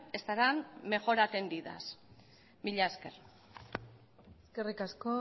estarán mejor atendidas mila esker eskerrik asko